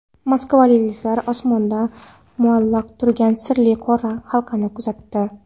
Moskvaliklar osmonda muallaq turgan sirli qora halqani kuzatdi .